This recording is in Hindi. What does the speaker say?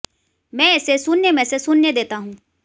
मैं इसे शून्य में से शून्य देता हूं